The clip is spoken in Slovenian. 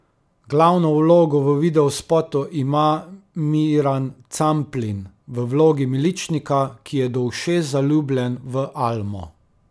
Glavno vlogo v videospotu ima Miran Camplin, v vlogi miličnika, ki je do ušes zaljubljen v Almo.